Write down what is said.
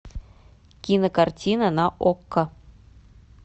кинокартина на окко